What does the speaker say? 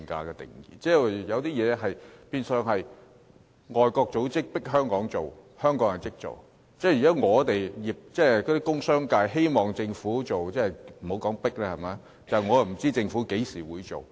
有些東西變相是外國組織迫香港做，香港就立即做，但工商界希望政府做，卻不知道政府何時才會做。